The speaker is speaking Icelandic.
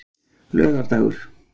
laugardagur